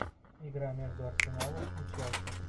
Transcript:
игра между арсеналом и челси